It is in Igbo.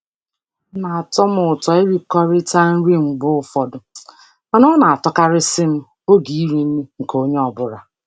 Ọ na-atọ m ụtọ ịrikọta nri mgbe ụfọdụ mana ọ na-amasịkarị m oge iri nri nke onye ọ bụla.